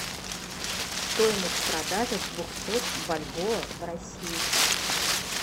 стоимость продажи двухсот бальбоа в россии